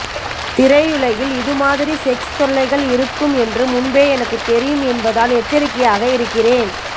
திரையுலகில் இதுமாதிரி செக்ஸ் தொல்லைகள் இருக்கும் என்று முன்பே எனக்கு தெரியும் என்பதால் எச்சரிக்கையாக இருக்கிறேன்